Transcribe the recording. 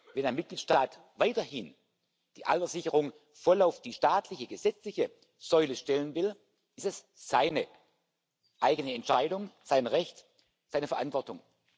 Wenn ein Mitgliedstaat weiterhin die Alterssicherung voll auf die staatliche gesetzliche Säule stellen will, ist es seine eigene Entscheidung, sein Recht, seine Verantwortung.